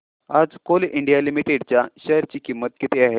आज Coal India Limited च्या share ची किंमत किती आहे